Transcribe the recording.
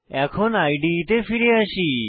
এখন ইদে তে ফিরে আসি